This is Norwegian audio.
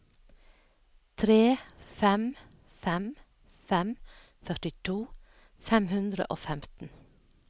tre fem fem fem førtito fem hundre og femten